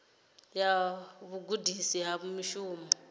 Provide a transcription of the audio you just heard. ya vhugudisi ha mushumo i